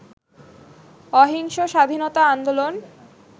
অহিংস স্বাধীনতা আন্দোলন